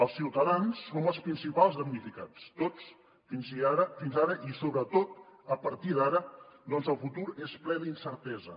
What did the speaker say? els ciutadans som els principals damnificats tots fins ara i sobretot a partir d’ara ja que el futur és ple d’incertesa